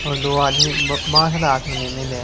और दो आदमी बा बासड़ा हाथ में ले मेलिया है।